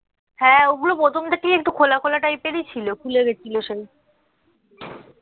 হ্যাঁ ঐগুলো প্রথম থেকেই একটু খোলা খোলা type এ ছিল খুলেগেছিলো সেই